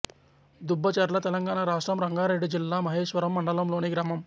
దుబ్బచెర్ల తెలంగాణ రాష్ట్రం రంగారెడ్డి జిల్లా మహేశ్వరం మండలంలోని గ్రామం